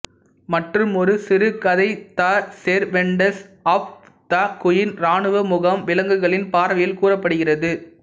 மற்றுமொரு சிறு கதை the servants of the queen ராணுவ முகாம் விலங்குகளின் பார்வையில் கூறப்படுகிறது